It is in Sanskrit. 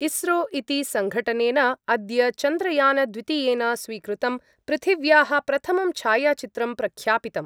इस्रो इति सङ्घटनेन अद्य चन्द्रयानद्वितीयेन स्वीकृतं पृथिव्याः प्रथमं छायाचित्रं प्रख्यापितम्।